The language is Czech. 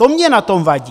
To mně na tom vadí!